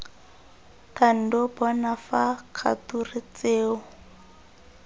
thando bona fa kgature tseo